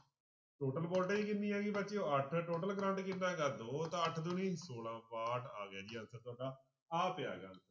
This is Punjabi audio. Total voltage ਕਿੰਨੀ ਹੈਗੀ ਬੱਚਿਓ ਅੱਠ total ਕਰੰਟ ਕਿੰਨਾ ਹੈਗਾ ਦੋ ਤਾਂ ਅੱਠ ਦੂਣੀ ਛੋਲਾ, ਬਾਹਠ ਆ ਗਿਆ ਸੀ answer ਤੁਹਾਡਾ, ਆ ਪਿਆ ਗਾ